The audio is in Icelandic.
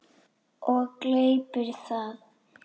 Og gleypir það.